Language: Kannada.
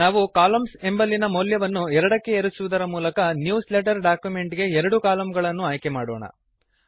ನಾವು ಕಾಲಮ್ನ್ಸ್ ಎಂಬಲ್ಲಿನ ಮೌಲ್ಯವನ್ನು 2ಕ್ಕೆ ಏರಿಸುವುದರ ಮೂಲಕ ನ್ಯೂಸ್ ಲೆಟರ್ ಡಾಕ್ಯುಮೆಂಟ್ ಗೆ ಎರಡು ಕಲಮ್ಗಳನ್ನು ಆಯ್ಕೆ ಮಾಡೋಣ